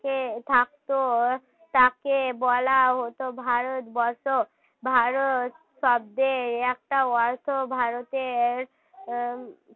থাকত তাকে বলা হত ভারতবর্ষ ভারত শব্দে একটা হয়তো ভারতের উম